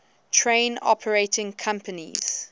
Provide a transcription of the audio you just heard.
train operating companies